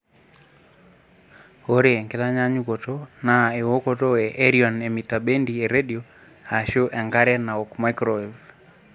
Ore enkitanyaanyukoto naa ewokoto e erion emitabendi e redio aashu enkare naaok microwave.